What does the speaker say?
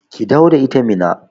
Ki dawo da ita Minna